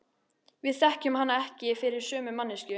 Við þekkjum hana ekki fyrir sömu manneskju.